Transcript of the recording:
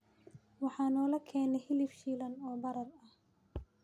waxaa naloo keenay hilib shiilan oo baraar ah